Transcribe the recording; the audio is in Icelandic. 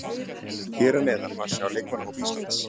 Hér að neðan má sjá leikmannahóp Íslands.